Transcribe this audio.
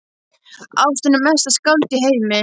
Ástin er mesta skáld í heimi.